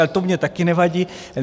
Ale to mně taky nevadí.